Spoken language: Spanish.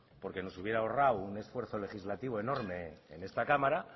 porque nos hubiera ahorrado un esfuerzo legislativo enorme en esta cámara